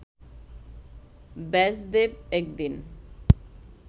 ব্যাসদেব এক দিন